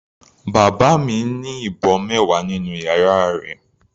Bàbá mi ní ìbọn mẹwa nínú yàrá rẹ̀.